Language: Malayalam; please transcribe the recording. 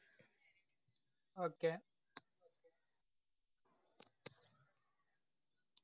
Okay